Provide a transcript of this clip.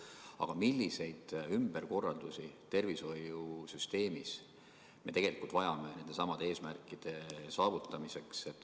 Aga milliseid ümberkorraldusi tervishoiusüsteemis me tegelikult vajame nendesamade eesmärkide saavutamiseks?